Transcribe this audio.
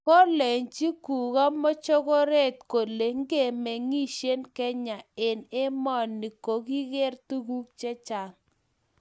Kolenji kugo mokochoret kole ngimengishe kenya eng emoni kogigeer tuguk chechang